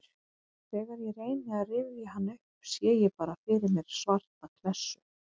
Þegar ég reyni að rifja hann upp sé ég bara fyrir mér svarta klessu.